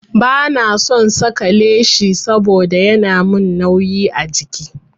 Ba na son saka leshi saboda yana min nauyi a jiki.